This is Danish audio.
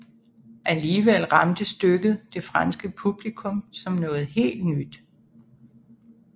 Alligevel ramte stykket det franske publikum som noget helt nyt